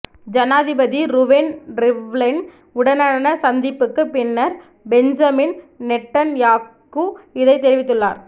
ஜனாதிபதி Reuven Rivlin உடனான சந்திப்புக்கு பின்னர் பென்ஜமின் நெட்டன்யாகூ இதனை அறிவித்துள்ளார்